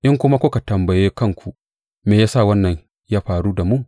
In kuma kuka tambaye kanku Me ya sa wannan ya faru da mu?